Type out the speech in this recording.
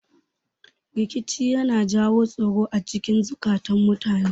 Rikici yana jawo tsoro acikin zukatun mutane